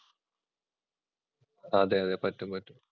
അതെയതെ, പറ്റും, പറ്റും.